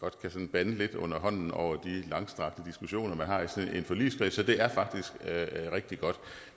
bande lidt under hånden over de langstrakte diskussioner man har i sådan en forligskreds så det er faktisk rigtig godt